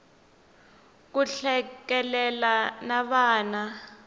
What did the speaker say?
ku hlekelela na vana